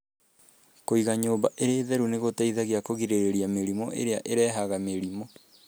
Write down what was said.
Kúiga nyũmba ĩrĩ theru nĩ gũteithagia kũgirĩrĩria mĩrimũ ĩrĩa ĩrehaga mĩrimũ.